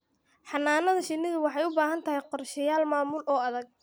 Xannaanada shinnidu waxay u baahan tahay qorshayaal maamul oo adag.